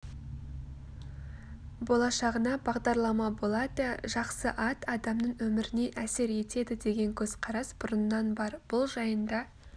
болашағына бағдарлама болады жақсы ат адамның өміріне әсер етеді деген көзқарас бұрыннан бар бұл жайында